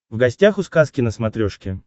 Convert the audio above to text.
в гостях у сказки на смотрешке